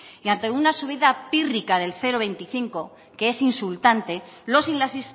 y antes una subido pírrica del cero coma veinticinco que es insultante los y las